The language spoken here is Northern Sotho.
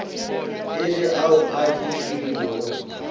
e le ao a tšwilego